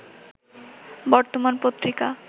বর্তমান পত্রিকা